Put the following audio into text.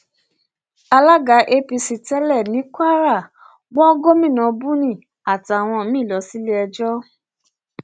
alága apc tẹlẹ ní kwara wọ gomina buni àtàwọn míín lọ síléẹjọ